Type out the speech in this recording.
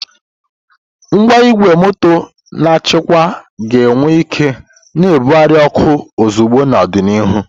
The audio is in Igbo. Ngwa igwe moto na-achịkwa ga-enwe ike na-ebugharị oku ozugbo n'ọdịnihu.